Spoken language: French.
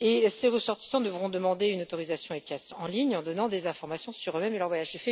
Ces ressortissants devront demander une autorisation ETIAS en ligne en donnant des informations sur eux-mêmes et leur voyage.